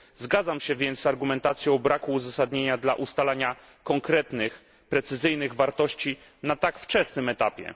Zgadzam się więc z argumentacją o braku uzasadnienia dla ustalania konkretnych, precyzyjnych wartości na tak wczesnym etapie.